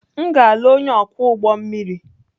M ga-alụ onye ọkwọ ụgbọ mmiri.